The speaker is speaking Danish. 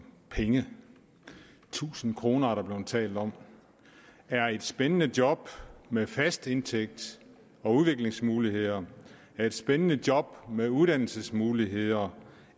penge tusind kroner er der blevet talt om er et spændende job med fast indtægt og udviklingsmuligheder er et spændende job med uddannelsesmuligheder